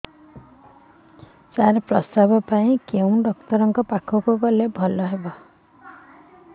ସାର ପ୍ରସବ ପାଇଁ କେଉଁ ଡକ୍ଟର ଙ୍କ ପାଖକୁ ଗଲେ ଭଲ ହେବ